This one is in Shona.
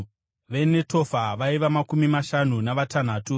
veNetofa vaiva makumi mashanu navatanhatu;